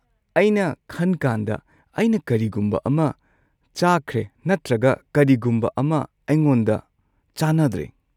ꯑꯩꯅ ꯈꯟꯀꯥꯟꯗ ꯑꯩꯅ ꯀꯔꯤꯒꯨꯝꯕ ꯑꯃ ꯆꯥꯈ꯭ꯔꯦ ꯅꯠꯇ꯭ꯔꯒ ꯀꯔꯤꯒꯨꯝꯕ ꯑꯃ ꯑꯩꯉꯣꯟꯗ ꯆꯥꯅꯗ꯭ꯔꯦ꯫